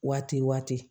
Waati waati